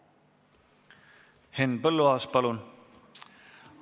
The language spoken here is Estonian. Henn Põlluaas, palun!